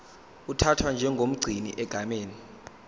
uthathwa njengomgcini egameni